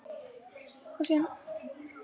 Ég held að hann viti það ekki einu sinni sjálfur.